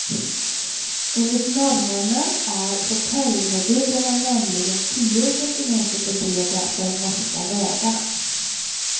Enligt norrmännen är hotellmodulerna nämligen tio centimeter för breda för de norska vägarna.